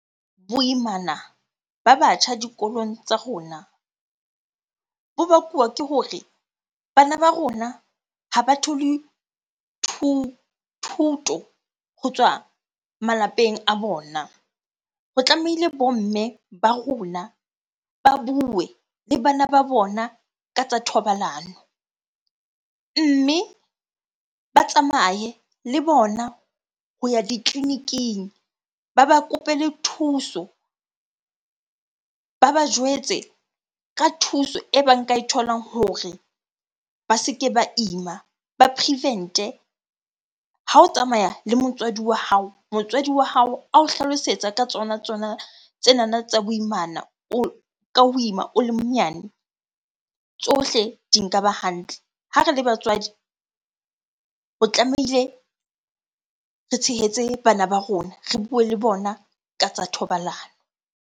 Boimana ba batjha dikolong tsa rona bo bakuwa ke hore bana ba rona ha ba thole thuto ho tswa malapeng a bona. Ho tlameile bo mme ba rona, ba bue le bana ba bona ka tsa thobalano. Mme ba tsamaye le bona ho ya ditleliniking, ba ba kopele thuso. Ba ba jwetse ka thuso e ba nka e tholang hore ba se ke ba ima, ba prevent-e. Ha o tsamaya le motswadi wa hao, motswadi wa hao ao hlalosetsa ka tsona tsona tsenana tsa boimana ka ho ima o le monyane. Tsohle di nka ba hantle. Ha re le batswadi, o tlamehile re tshehetse bana ba rona. Re bue le bona ka tsa thobalano.